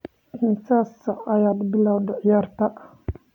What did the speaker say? Imisa saac ayaad bilowday ciyaarta?